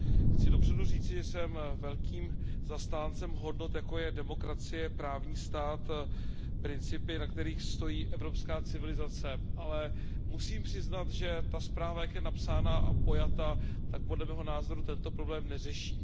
Chci dopředu říci, že jsem velkým zastáncem hodnot, jako je demokracie, právní stát, principy, na kterých stojí evropská civilizace. Musím ale přiznat, že ta zpráva, jak je napsána a pojata, podle mého názoru tento problém neřeší.